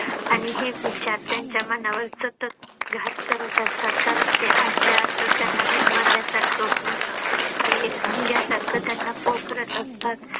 आणि हे विचार त्यांच्या मनावर सतत घात करत असतात कारण त्यांना आतल्या आतच त्यांना गुदमरल्या सारखं होऊन ते एक भुंग्या सारखं त्यांना पोखरत असतात.